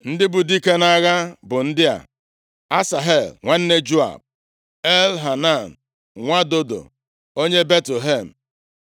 Ndị bụ dike nʼagha bụ ndị a: Asahel nwanne Joab, Elhanan nwa Dodo onye Betlehem,